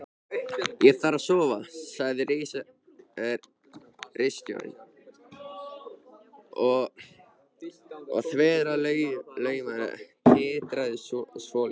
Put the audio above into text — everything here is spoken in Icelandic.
Ég þarf að sofa, sagði ritstjórinn og þverslaufan titraði svolítið.